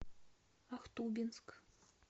ахтубинск